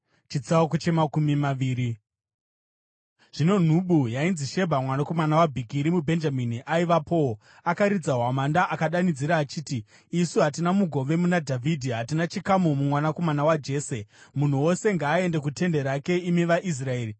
Zvino nhubu yainzi Shebha mwanakomana waBhikiri, muBhenjamini, aivapowo. Akaridza hwamanda akadanidzira achiti, “Isu hatina mugove muna Dhavhidhi, hatina chikamu mumwanakomana waJese! Munhu wose ngaaende kutende rake, imi vaIsraeri!”